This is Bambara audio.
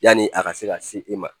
Yani a ka se ka se i ma